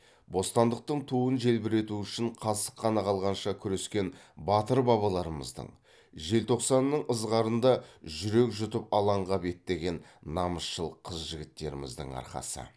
бостандықтың туын желбірету үшін қасық қаны қалғанша күрескен батыр бабаларымыздың желтоқсанның ызғарында жүрек жұтып алаңға беттеген намысшыл қыз жігіттеріміздің арқасы